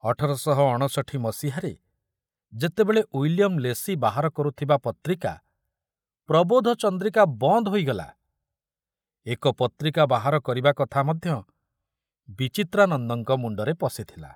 ଅଠର ଶହ ଅଣଷଠୀ ମସିହାରେ ଯେତେବେଳେ ଉଇଲିୟମ ଲେସି ବାହାର କରୁଥିବା ପତ୍ରିକା ପ୍ରବୋଧଚନ୍ଦ୍ରିକା ବନ୍ଦ ହୋଇଗଲା, ଏକ ପତ୍ରିକା ବାହାର କରିବା କଥା ମଧ୍ୟ ବିଚିତ୍ରାନନ୍ଦଙ୍କ ମୁଣ୍ଡରେ ପଶିଥିଲା।